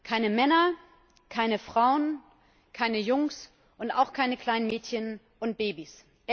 Keine Männer, keine Frauen, keine Jungs und auch keine kleinen Mädchen und Babys.